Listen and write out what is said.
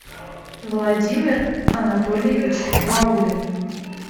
владимир анатольевич ваулин